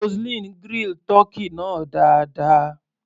Roseline grill tọ́kì náà dáadáa.